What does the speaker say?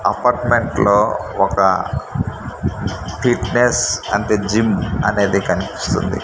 Apartment లో ఒక fitness అంటే జీమ్ అనేది కనిపిస్తుంది.